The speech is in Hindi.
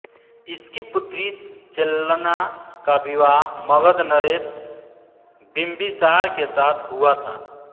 इसकी पुत्री चेल्लना का विवाह मगघ नरेश बिम्बिसार के साथ हुआ था